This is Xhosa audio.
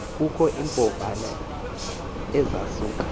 kukho iimbovane ezasuka